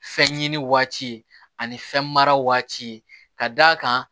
Fɛn ɲini waati ani fɛn mara waati ka d'a kan